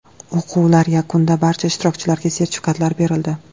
O‘quvlar yakunida barcha ishtirokchilarga sertifikatlar berildi.